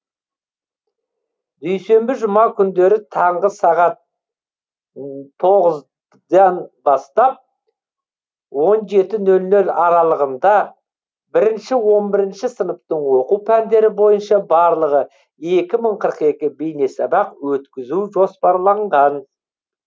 дүйсенбі жұма күндері таңғы сағат тоғыздан бастап он жеті нөл нөл аралығында бірінші он бірінші сыныптың оқу пәндері бойынша барлығы екі мың қырық екі бейнесабақ өткізу жоспарланған